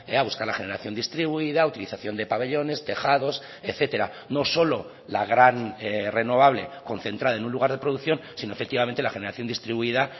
a buscar la generación distribuida a utilización de pabellones tejados etcétera no solo la gran renovable concentrada en un lugar de producción sino efectivamente la generación distribuida